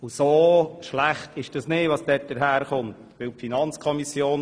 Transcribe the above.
So schlecht ist es nicht, was wir erhalten.